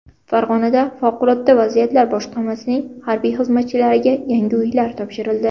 Farg‘onada favqulodda vaziyatlar boshqarmasining harbiy xizmatchilariga yangi uylar topshirildi.